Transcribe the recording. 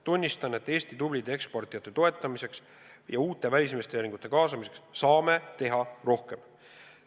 Tunnistan, et Eesti tublide eksportijate toetamiseks ja uute välisinvesteeringute kaasamiseks saame teha rohkem.